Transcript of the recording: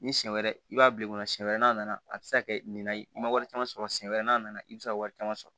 Ni siɲɛ wɛrɛ i b'a bila i kɔnɔ siɲɛ wɛrɛ n'a nana a bɛ se ka kɛ nin na ye i ma wari caman sɔrɔ siyɛn wɛrɛ n'a nana i bɛ se ka wari caman sɔrɔ